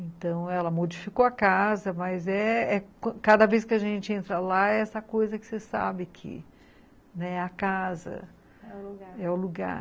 Então, ela modificou a casa, mas eh eh cada vez que a gente entra lá, é essa coisa que você sabe que, né, a casa, é o lugar.